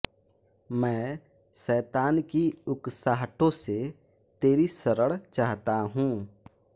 मैं शैतान की उकसाहटों से तेरी शरण चाहता हूँ